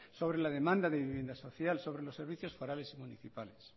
sobre la demanda de vivienda social sobre los servicios forales y municipales